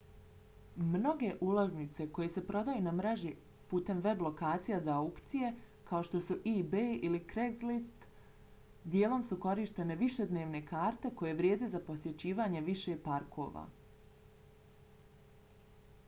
mnoge ulaznice koje se prodaju na mreži putem web lokacija za aukcije kao što su ebay ili craigslist dijelom su korištene višednevne karte koje vrijede za posjećivanje više parkova